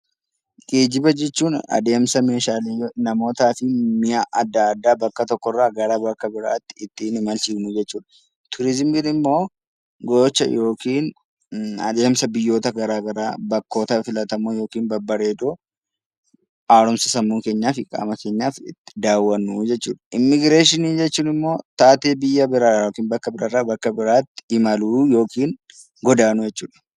Geejjiba jechuun adeemsa meeshaalee, namootaa fi mi'a adda addaa bakka tokkorraa gara bakka biraatti ittiin imalshiisnu jechuudha. Turizimiin immoo gocha yookiin adeemsa biyyoota garaa garaa bakkoota filatamoo yookiin babbareedoo, haaromsa sammuu keenyaa fi qaama keenyaaf itti daawwannu jechuudha. Immigireeshinii jechuun immoo taatee biyya biraarraa yookaan bakka biraarraa bakka biraatti imaluu yookiin godaanuu jechuudha.